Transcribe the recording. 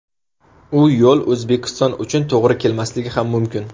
U yo‘l O‘zbekiston uchun to‘g‘ri kelmasligi ham mumkin.